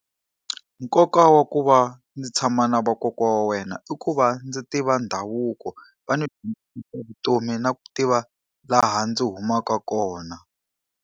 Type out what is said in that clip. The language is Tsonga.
Nkoka wa ku va ndzi tshama na vakokwana wa wena i ku va ndzi tiva ndhavuko, va ni vutomi na ku tiva laha ndzi humaka kona.